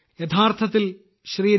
യഥാർത്ഥത്തിൽ ശ്രീ